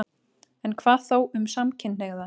En hvað þá um samkynhneigða?